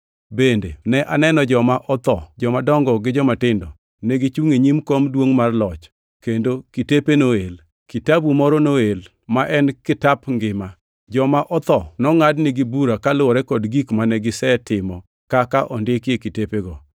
Bende ne aneno joma otho, jomadongo gi jomatindo, negichungʼ e nyim kom maduongʼ mar loch, kendo kitepe noel. Kitabu moro noel, ma en kitap ngima. Joma otho nongʼadnigi bura kaluwore kod gik mane gisetimo kaka ondiki e kitepego.